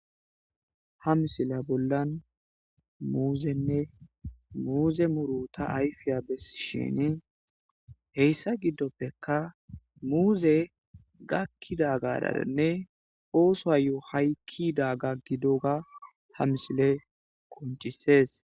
Ha misila bollan muuzenne muuze muro ta ayfiya bessi shin heyssa giddoppeka muuze gakkidagaranne ooso haykkidaga gidoga ha misile koncisees.